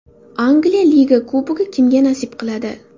Angliya Liga Kubogi kimga nasib qiladi?